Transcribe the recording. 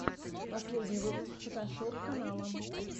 последний выпуск фотошоп канала